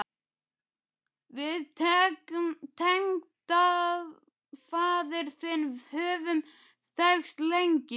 Við tengdafaðir þinn höfum þekkst lengi.